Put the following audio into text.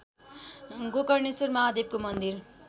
गोकर्णेश्वर महादेवको मन्दिर